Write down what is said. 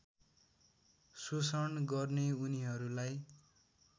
शोषण गर्ने उनीहरूलाई